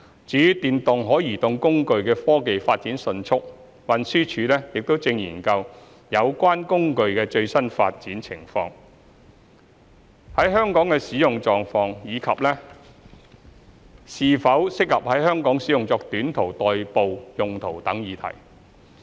由於電動可移動工具的科技發展迅速，運輸署亦正研究有關工具的最新發展情況、在香港的使用狀況，以及是否適合在香港使用作短途代步用途等議題。